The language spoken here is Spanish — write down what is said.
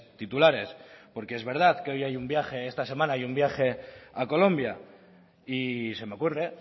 titulares porque es verdad que hoy hay un viaje esta semana hay un viaje a colombia y se me ocurre